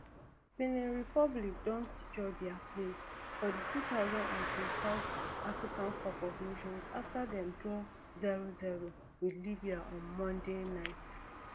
benin republic don secure dia place for di two thousand and twenty-five africa cup of nations afta dem draw zero zero wit libya on monday night